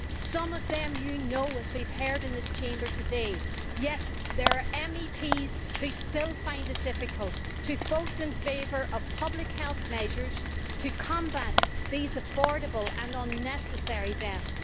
Some of them are known to us as we have heard in the Chamber today and yet there are MEPs who still find it difficult to vote in favour of public health measures to combat these avoidable and unnecessary deaths.